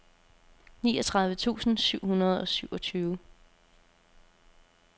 niogtredive tusind syv hundrede og syvogtyve